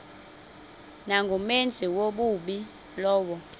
nangumenzi wobubi lowo